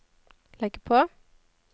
legg på